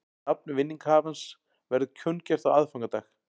Nafn vinningshafans verður kunngjört á aðfangadag